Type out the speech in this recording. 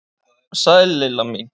Sæl Lilla mín!